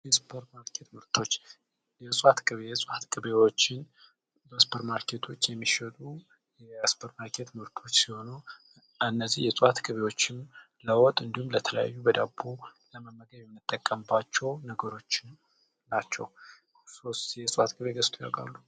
የሱፐር ማርኬት ምርቶች የእፅዋት ቅቤ የእፅዋት ቅቤዎች በሱፐር ማርኬት የሚሸጡ የሱፐር ማርኬት ምርቶች ሲሆኑ እነዚህ የእፅዋት ቅቤዎች ለወጥ እንዲሁም ለተለያዩ በዳቦ ለመመገብ የምንጠቀምባቸው ነገሮች ናቸው። እርስዎስ የእፅዋት ቅቤ ገዝተው ያውቃሉ?